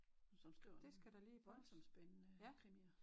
Som skriver voldsomt spændende krimier